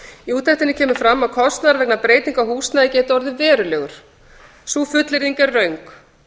í úttektinni kemur fram að kostnaður vegna breytinga á húsnæði geti orðið verulegur sú fullyrðing er röng